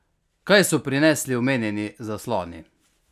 Kaj so prinesli omenjeni zasloni?